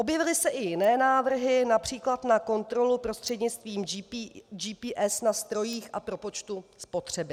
Objevily se i jiné návrhy, například na kontrolu prostřednictvím GPS na strojích a propočtu spotřeby.